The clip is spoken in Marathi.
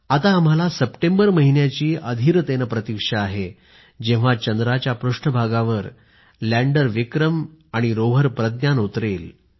आता आम्हाला सप्टेंबर महिन्याची अधिरतेने प्रतीक्षा आहे जेव्हा चंद्राच्या पृष्ठभागावर लँडरविक्रम आणि रोव्हरप्रज्ञान उतरेल